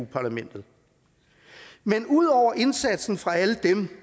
parlamentet men ud over indsatsen fra alle dem